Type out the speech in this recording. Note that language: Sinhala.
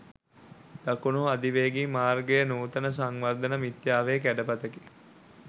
දකුණු අධිවේගී මාර්ගය නූතන සංවර්ධන මිත්‍යාවේ කැඩපතකි.